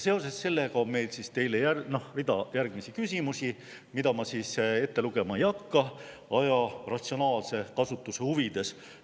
Seoses sellega on meil teile rida järgmisi küsimusi, mida ma ette lugema ei hakka aja ratsionaalse kasutuse huvides.